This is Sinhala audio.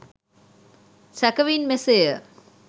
සැකෙවින් මෙසේය